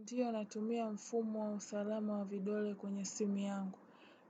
Ndiyo natumia mfumo wa usalama wa vidole kwenye simu yangu.